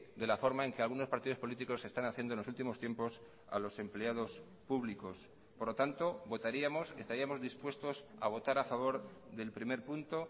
de la forma en que algunos partidos políticos están haciendo en los últimos tiempos a los empleados públicos por lo tanto votaríamos estaríamos dispuestos a votar a favor del primer punto